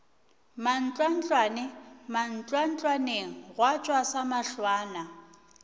mantlwantlwane mantlwantlwaneng gwa tšwa samahlwana